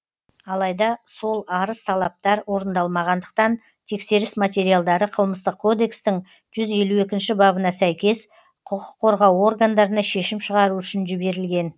алайда сол арыз талаптар орындалмағандықтан тексеріс материалдары қылмыстық кодекстің жүз елу екінші бабына сәйкес құқық қорғау органдарына шешім шығару үшін жіберілген